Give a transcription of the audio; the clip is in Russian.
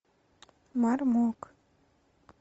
мармок